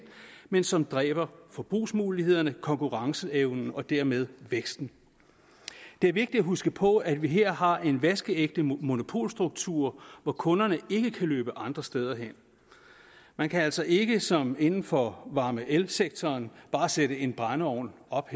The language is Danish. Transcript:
men som dræber forbrugsmulighederne konkurrenceevnen og dermed væksten det er vigtigt at huske på at vi her har en vaskeægte monopolstruktur hvor kunderne ikke kan løbe andre steder hen man kan altså ikke som inden for varme og elsektoren bare sætte en brændeovn op